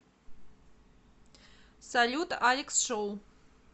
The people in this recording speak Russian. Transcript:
салют алекс шоу